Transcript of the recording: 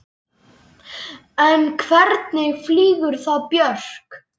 En hvernig flýgur þá Björk?